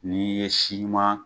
N'i ye si ɲuman